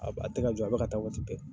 A a tɛ ka jɔ a bɛ ka taa waati bɛɛ.